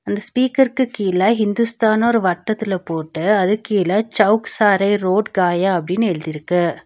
ஒரு ஸ்பீக்கருக்கு கீழ இந்துஸ்தான்னு ஒரு வட்டத்தில போட்டு அது கீழ சௌக் சாரே ரோட் காயா அப்டினு எழுதி இருக்கு.